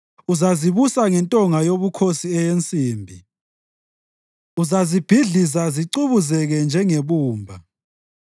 Uzazibusa ngentonga yobukhosi eyensimbi, uzazibhidliza zicubuzeke njengebumba.”